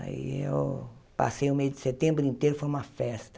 Aí eu passei o mês de setembro inteiro, foi uma festa.